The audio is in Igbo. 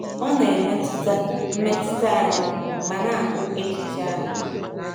Ọ na-emetụta mmetụta anyị ma na-akpụ echiche anyị.